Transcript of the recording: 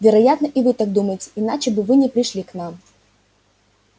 вероятно и вы так думаете иначе бы вы не пришли к нам